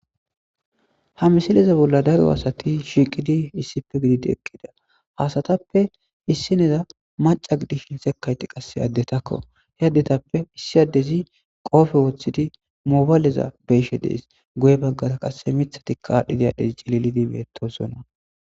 ha misileza bolla daro asati shiiqidi issipe gididi eqqida ha asatappe issineya maca gidishin sekayti qasse addetakko he addetappe issi addezi qoofe woththidi mobaleza beyishe dees guye baggara qasse mithatikavadhdhidi addezi celilidi bettosonna